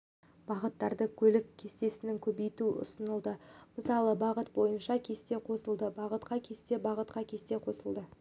бағыттарда көлік кестесін көбейту ұсынылды мысалы бағыт бойынша кесте қосылады бағытқа кесте бағытқа кесте қосылады